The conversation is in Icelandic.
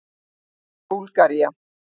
Búlgaría